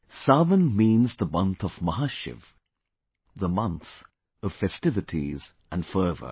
Sawan means the month of Mahashiv, the month of festivities and fervour